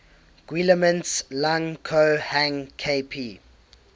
guillemets lang ko hang kp